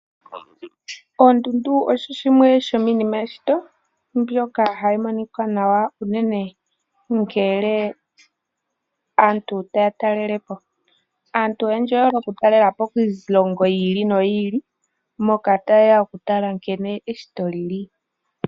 Oondundu osho shimwe sho miinima yeshito mbyoka hayi monika nawa unene ngele aantu taya talelepo. Aantu oyendji oye hole okutalelapo kiilongo yiili no yiili moka taye ya okutala nkene eshito lili.